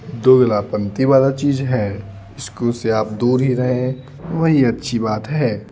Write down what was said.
दोगला पंती वाला चीज है स्कूल से आप दूर ही रहे वही अच्छी बात है।